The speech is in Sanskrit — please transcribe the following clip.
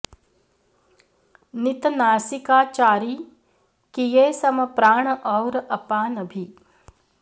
नित नासिकाचारी किये सम प्राण और अपान भी